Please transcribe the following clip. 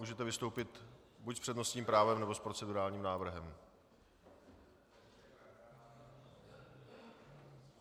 Můžete vystoupit buď s přednostním právem, nebo s procedurálním návrhem.